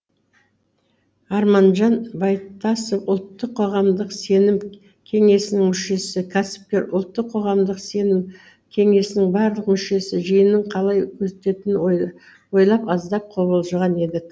арманжан байтасов ұлттық қоғамдық сенім кеңесінің мүшесі кәсіпкер ұлттық қоғамдық сенім кеңесінің барлық мүшесі жиынның қалай өтетінін ойлап аздап қобалжыған едік